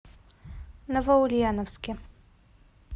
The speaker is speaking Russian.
новоульяновске